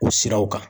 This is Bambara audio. O siraw kan